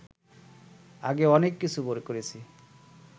আগে অনেক কিছু করেছি